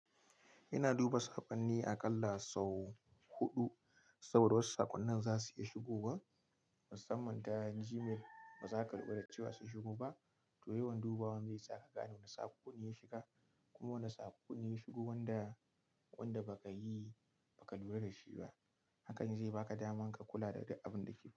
Ina duba sakonni aƙalla sau huɗu, saboda wasu sakonnin za su iya shigowa. Musamman ta Gmail bazaka lura da cewa sun shigo ba, to yawan dubawa zai saka ka gane wani sakon ne ya shiga kuma wani sako ne ya shigo wanda, wanda baka lura da shi ba hakan zai baka daman ka kula da duk abin da ke.